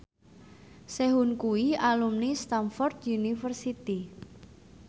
Sehun kuwi alumni Stamford University